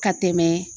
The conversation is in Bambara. Ka tɛmɛ